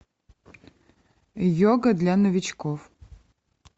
йога для новичков